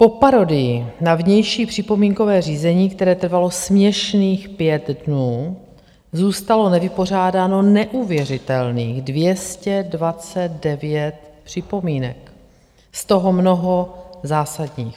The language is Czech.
Po parodii na vnější připomínkové řízení, které trvalo směšných pět dnů, zůstalo nevypořádáno neuvěřitelných 229 připomínek, z toho mnoho zásadních.